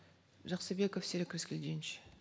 жаксыбеков серик рыскельдинович